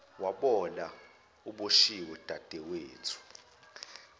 wabola uboshiwe dadewethu